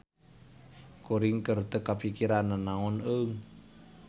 Kuring keur teu kapikiran nanaon eung.